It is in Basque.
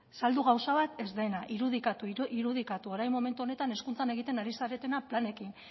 saldu gauza bat ez den irudikatu irudikatu orain momentu honetan hezkuntzak egiten ari zaretena planekin